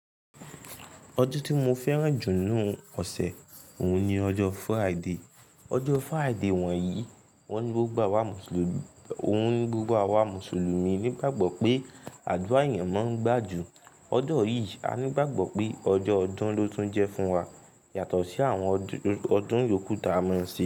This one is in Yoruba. Ọjọ́ tí mo fẹ́ràn jù ní inú ọ̀sẹ̀ òhun ni ọjọ́ Friday. Ọjọ́ Friday wọ̀nyí, óhun ní gbogbo awa Mùsùlùmí nígbàgbọ́ pé àdúrà eeyan máa ń gbà jù. Ọ̀jọọ̀ yìí, a nígbàgbọ́ pé ọjọ́ ọdún ló tún jẹ́ fún wa yàtọ̀ sí àwọn ọdún yókù ta a máa ń ṣe.